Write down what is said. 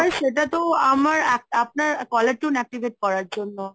সেটা তো আমার আপনার caller tune activate করার জন্য।